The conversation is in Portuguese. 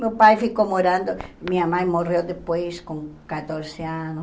Meu pai ficou morando, minha mãe morreu depois com quatorze anos.